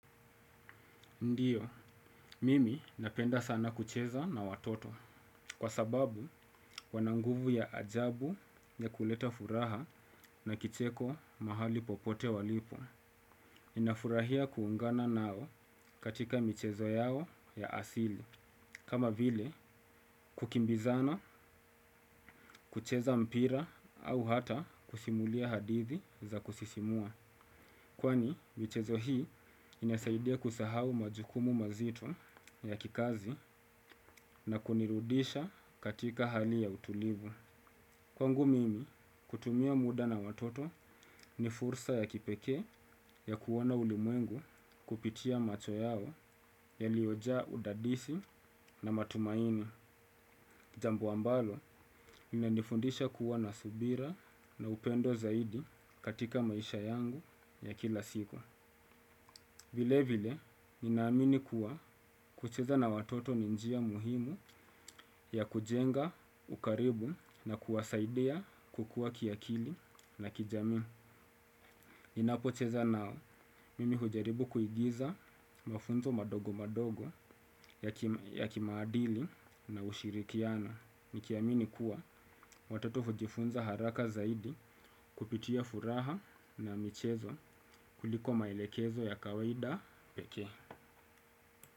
Ndiyo, mimi napenda sana kucheza na watoto, kwa sababu wana nguvu ya ajabu ya kuleta furaha na kicheko mahali popote walipo. Nafurahia kuungana nao katika michezo yao ya asili, kama vile kukimbizana, kucheza mpira au hata kusimulia hadithi za kusisimua. Kwani, michezo hii inasaidia kusahau majukumu mazito ya kikazi na kunirudisha katika hali ya utulivu. Kwangu mimi, kutumia muda na watoto ni fursa ya kipekee ya kuona ulimwengu kupitia macho yao yaliyojaa udadisi na matumaini. Jambo ambalo inanifundisha kuwa na subira na upendo zaidi katika maisha yangu ya kila siku. Vile vile, ninaamini kuwa kucheza na watoto ni njia muhimu ya kujenga ukaribu na kuwasaidia kukuwa kiakili na kijamii. Ninapocheza nao, mimi hujaribu kuigiza mafunzo madogo madogo ya kimaadili na ushirikiano. Nikiamini kuwa watoto hujifunza haraka zaidi kupitia furaha na michezo kuliko maelekezo ya kawaida pekee.